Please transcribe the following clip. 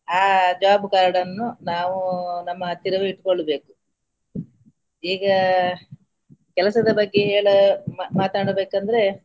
ಆ job card ಅನ್ನು ನಾವು ನಮ್ಮ ಹತ್ತಿರವೇ ಇಟ್ಟ್ಕೊಳ್ಬೇಕು ಈಗ ಕೆಲಸದ ಬಗ್ಗೆ ಹೇಳ~ ಮಾ~ ಮಾತಾಡಬೇಕಂದ್ರೆ.